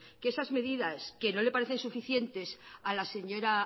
que esas medidas que no le parecen suficientes a la señora